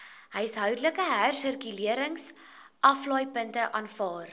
huishoudelike hersirkuleringsaflaaipunte aanvaar